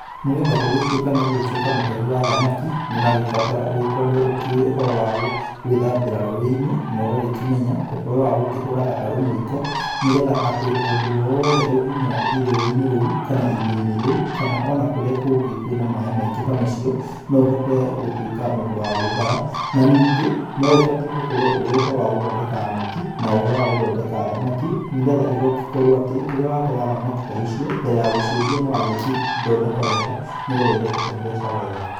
Nĩgetha gũgĩtũĩka nĩũgũgĩtũĩka mũtegi wa thamaki, nĩ ũragĩbatara ũgĩkorwo ũkĩũĩ ũhoro wa gwĩthambĩra rũũĩ-inĩ na ũgakĩmenya ũhoro wa kũhũra gatarũ mũiko. Nĩgetha atĩ ũndũ o wothe ũngĩumĩra rũũĩ-inĩ rũũ ona kana irĩa-inĩ rĩũ kana ona kũrĩa kũngĩ kwĩna maaĩ ta macio noũhote gũtũĩka mũndũ wa gwĩthara na ningĩ, no ũbatĩe gũkorwo ũĩ ũhoro wa gũthondeka neti na ũhoro wa gũthondeka thamaki nĩgetha ĩkorwo atĩ, rĩrĩa watega thamaki ta icio mbere ya gũciendia nĩwagĩcithondeka wega nĩgetha igakũhe mbeca wega.